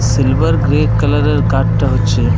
Silver grey colour এর কাঠ টা হচ্ছে ।